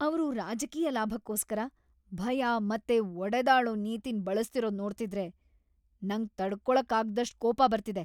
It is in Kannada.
ಅವ್ರು ರಾಜಕೀಯ ಲಾಭಕ್ಕೋಸ್ಕರ ಭಯ ಮತ್ತೆ ಒಡೆದಾಳೋ ನೀತಿನ್ ಬಳಸ್ತಿರೋದ್‌ ನೋಡ್ತಿದ್ರೆ ನಂಗ್‌ ತಡ್ಕೊಳಕ್ಕಾಗ್ದಷ್ಟ್‌ ಕೋಪ ಬರ್ತಿದೆ.